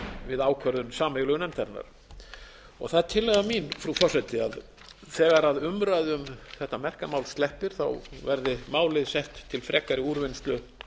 við ákvörðun sameiginlegu nefndarinnar það er tillaga mín frú forseti að þegar umræðu um þetta merka mál sleppir verði málið sett til frekari úrvinnslu